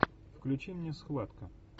включи мне схватка